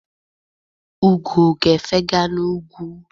Ugo ga-efega n'ugwu.